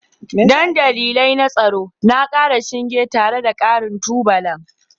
Don dalilai na tsaro na ƙara shinge tare da ƙarin tubalan